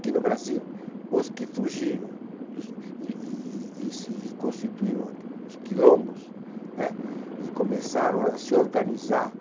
Aqui no Brasil, os que fugiram dos e, e... E se, e constituíram os quilombos, né , e começaram a se organizar